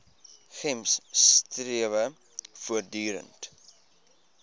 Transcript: gems strewe voortdurend